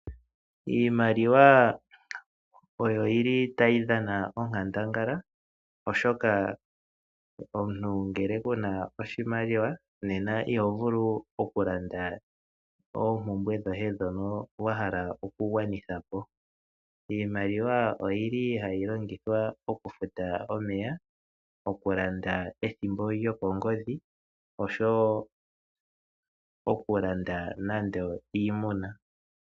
Iimaliwa oyo yi li tayi dhana onkandangala, oshoka omuntu ngele kuna oshimaliwa nena ihovulu okulanda oompumbwe dhoye ndhoka wa hala oku gwanitha po. Iimaliwa oyi li hayi longithwa okufuta omeya, oku landa ethimbo lyokongodhi, osho woo oku landa nande iimuna.